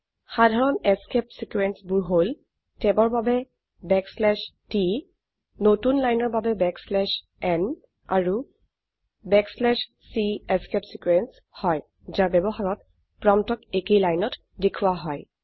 সাধাৰণ escape sequence বোৰ হল ট্যাব ৰ বাবে t নতুন লাইনৰ বাবে n আৰু c এস্কেপ ছিকোয়েন্স হয় যাৰ ব্যবহাৰত প্ৰম্পটক একেই লাইনত দেখোৱা হয়